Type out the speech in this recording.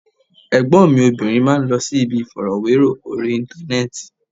Ẹ̀gbọ́n mi obìnrin máa ń lọ síbi ìfọ̀rọ̀wérọ̀ orí Íńtánẹ́ẹ̀tì.